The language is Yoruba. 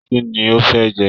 Kínní o fẹ jẹ?